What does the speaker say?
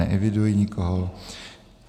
Neeviduji nikoho.